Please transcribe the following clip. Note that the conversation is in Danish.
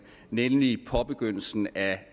nemlig påbegyndelsen af